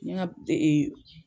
N ɲɛ n ka